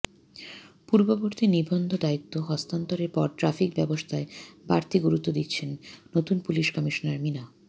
পূর্ববর্তী নিবন্ধদায়িত্ব হস্তান্তরের পর ট্রাফিক ব্যবস্থায় বাড়তি গুরুত্ব দিচ্ছেন নতুন পুলিশ কমিশনার মিনা